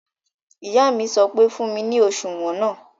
Ìyá mi sọ pé "fún mi ní òṣùwọ̀n náà!"